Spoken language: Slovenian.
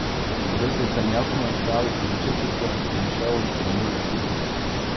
Obesil sem jakno, šal in čepico in šel za njo v kuhinjo.